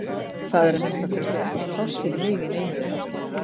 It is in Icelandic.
Það er að minnsta kosti ekki pláss fyrir mig í neinu þeirra